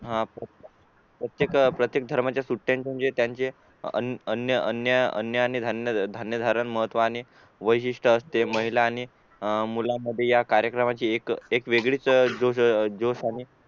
हा प्रत्येक प्रत्येक धर्मांचा सुट्या म्हणजे त्यांचे धान्य धारण महत्तव आणि वैशिष्ट असते महिला आणि मुलांमध्ये या कारेक्रमाची एक वेगळीच